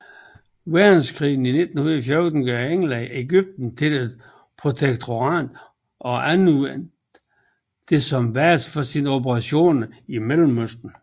Verdenskrig i 1914 gør England Egypten til et protektorat og anvendte det som base for sine operationer i Mellemøsten